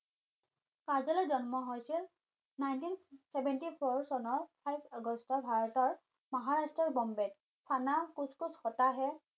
কাজলৰ জন্ম হৈছিল nineteen seventy four চনৰ five আগষ্টৰ ভাৰতৰ মহাৰাষ্ট্ৰৰ বম্বেত কোচ কোচ হৌতা হে